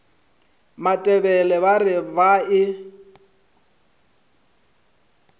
matebele ba re ba e